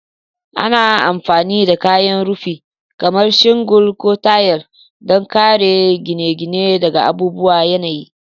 Ana amfani da kayan rufi kamar shingle ko tayal don kare gine-gine daga abubuwan yanayi.